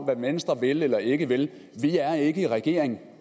hvad venstre vil eller ikke vil vi er ikke i regering